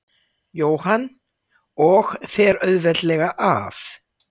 Jóhann: Og fer auðveldlega af?